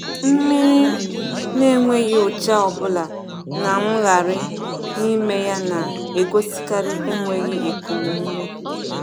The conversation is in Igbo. Mmiri n’enweghị ụcha ọbụla na mmgharị n’ime ya na-egosikarị enweghi ekum ume.